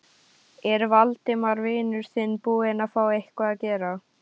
Er Valdimar vinur þinn búinn að fá eitthvað að gera?